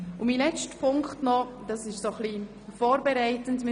Mein letzter Punkt betrifft vorbereitend den weiteren Verlauf.